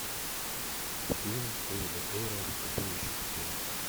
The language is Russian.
фильм дэвида эйра тупой и еще тупее